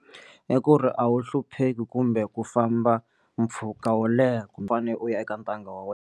I ku ri a wu hlupheki kumbe ku famba mpfhuka wo leha kumbe fane u ya eka ntanga wa wena.